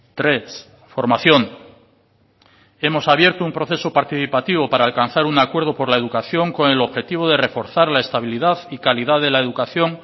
tres formación hemos abierto un proceso participativo para alcanzar un acuerdo por la educación con el objetivo de reforzar la estabilidad y calidad de la educación